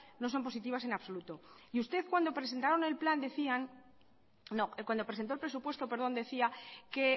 no son positivas en absoluto y usted cuando presentó el presupuesto perdón decía que